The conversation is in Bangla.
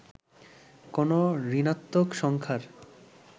কোন ঋণাত্নক সংখ্যার